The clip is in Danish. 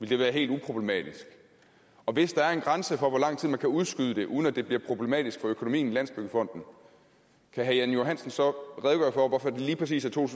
det være helt uproblematisk og hvis der er en grænse for hvor lang tid man kan udskyde det uden at det bliver problematisk for økonomien i landsbyggefonden kan herre jan johansen så redegøre for hvorfor det lige præcis er to